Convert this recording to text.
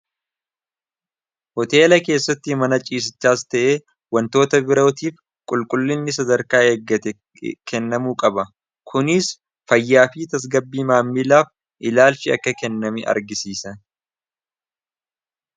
hoteela keessatti mana ciisichaas ta'e wantoota birootiif qulqullinni sadarkaa eeggate kennamuu qaba kuniis fayyaafii tasgabbii maammiilaaf ilaalchi akka kennami argisiisa